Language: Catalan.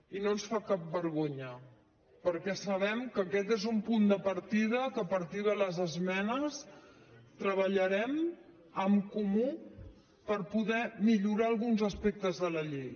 i no ens fa cap vergonya perquè sabem que aquest és un punt de partida que a partir de les esmenes treballarem en comú per poder millorar alguns aspectes de la llei